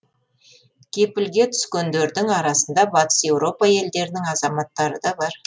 кепілге түскендердің арасында батыс еуропа елдерінің азаматтары да бар